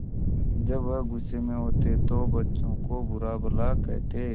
जब वह गुस्से में होते तो बच्चों को बुरा भला कहते